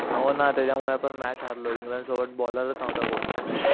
हो ना त्याच्यामुळे आपण मॅच हरलो इंग्लंड सोबत बॉलरच नहुता कोण